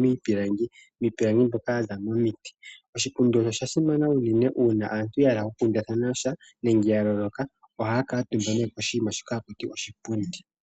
miipilangu, iipilangi mbyoka ya za mo miti. Oshipundi osha simana unene uuna aantu ya hala oku kundathana sha nenge ya loloka, ohaya kutumba nee ko shi nima shoka ha kutiwa oshipundi.